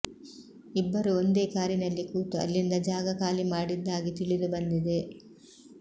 ಇಬ್ಬರೂ ಒಂದೇ ಕಾರಿನಲ್ಲಿ ಕೂತು ಅಲ್ಲಿಂದ ಜಾಗ ಖಾಲಿ ಮಾಡಿದ್ದಾಗಿ ತಿಳಿದು ಬಂದಿದೆ